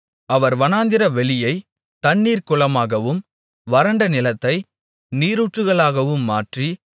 அவர் வனாந்திரவெளியைத் தண்ணீர் குளமாகவும் வறண்ட நிலத்தை நீரூற்றுகளாகவும் மாற்றி